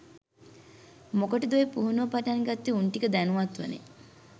මොකටද ඔය පුහුණුව පටන් ගත්තේ උන්ටික දැනුවත්වනේ.